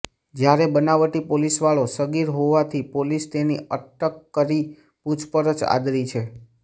જ્યારે બનાવટી પોલીસવાળો સગીર હોવાથી પોલીસ તેની અટક કરી પૂછપરછ આદરી છે